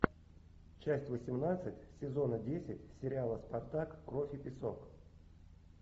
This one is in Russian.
часть восемнадцать сезона десять сериала спартак кровь и песок